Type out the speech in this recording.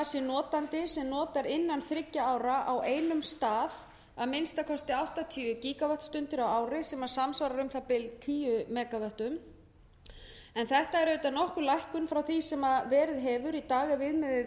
notandi sem notar inna þriggja ára á einum stað að minnsta kosti áttatíu gígavattstundir á ári sem samsvarar um það bil tíu megavöttum en þetta er auðvitað nokkur lækkun frá því sem verið hefur í dag ef viðmiðið er